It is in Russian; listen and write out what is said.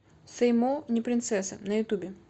сэй мо не принцесса на ютубе